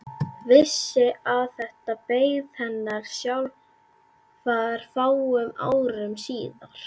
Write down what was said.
Vissi að þetta beið hennar sjálfrar fáum árum síðar.